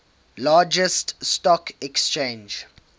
largest stock exchange